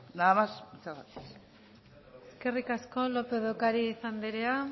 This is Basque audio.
nada más muchas gracias eskerrik asko lópez de ocariz andrea